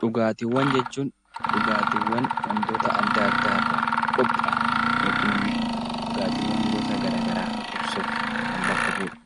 Dhugaatiiwwan jechuun dhugaatii waantota addaa addaa irraa qophaa'e yookaan immoo dhugaatiiwwan gosa garaagaraa irraa qophaassuuf kan bakka bu'udha.